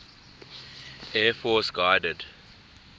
air force guided